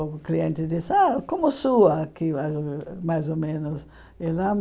O cliente disse, ah como sua aqui, mais ou mais ou menos.